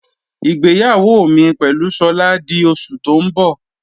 Ìgbéyàwó mi pẹ̀lú Sola di oṣù tó ń bọ̀.